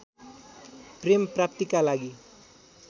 प्रेम प्राप्तिका लागि